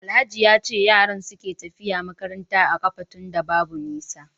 Alhaji yace yaran suke tafiya makarantar a kafa tunda Babu nisa